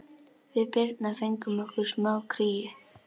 Við Birna fengum okkur smá kríu.